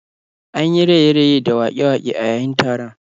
An yi raye-raye da waƙe-waƙe a yayin taron